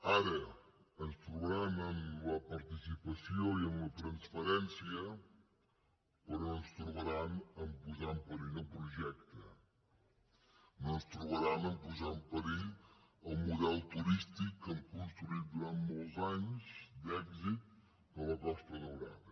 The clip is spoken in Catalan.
ara ens trobaran en la participació i en la transparèn·cia però no ens trobaran a posar en perill el projecte no ens trobaran a posar en perill el model turístic que hem construït durant molts anys d’èxit de la costa daurada